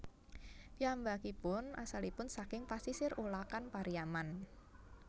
Piyambakipun asalipun saking pasisir Ulakan Pariaman